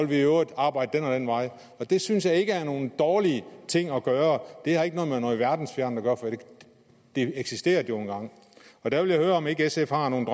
vi i øvrigt arbejde ad den vej det synes jeg ikke er nogen dårlig ting at gøre det har ikke noget med noget verdensfjernt at gøre for det eksisterede jo engang der vil jeg høre om ikke sf har nogen